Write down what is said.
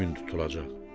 gün tutulacaq?